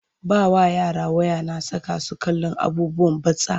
Ba wa yara waya na saka su kallon abubuwan batsa.